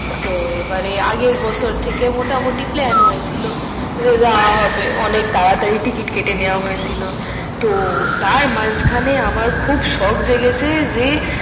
তো এবারে আগের বছর এর মোটামোটি প্ল্যান হয়েছিল যে যাওয়া হবে অনেক তাড়াতাড়ি টিকেট কেটে নেওয়া হয়েছিল তো তার মাঝখানে আমার খুব শখ জেগেছে যে